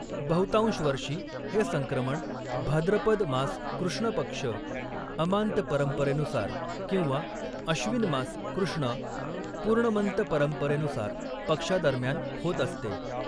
बहुतांश वर्षी, हे संक्रमण भाद्रपद मास कृष्ण पक्ष अमांत परंपरेनुसार किंवा अश्विन मास कृष्णा पूर्णमंत परंपरेनुसार पक्षादरम्यान होत असते.